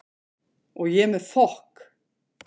Og ég með fokk